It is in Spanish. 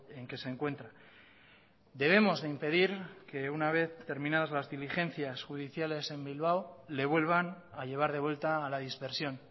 en que se encuentra debemos de impedir que una vez terminadas las diligencias judiciales en bilbao le vuelvan a llevar de vuelta a la dispersión